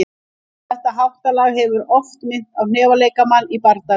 Þetta háttalag hefur oft þótt minna á hnefaleikamann í bardaga.